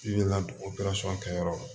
I bɛ ka o kɛ yɔrɔ la